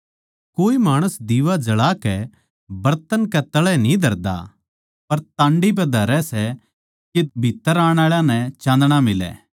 कोए माणस दिवा जळा कै बरतन कै तळै न्ही धरदा पर टांडी पै धरै सै के भीत्त्तर आण आळा नै चाँदणा मिलै